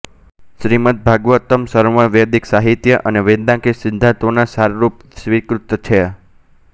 શ્રીમદ્ ભાગવતમ્ સર્વ વેદિક સાહિત્ય અને વેદાંતિક સિંદ્ધાંતોના સાર રૂપે સ્વિકૃત છે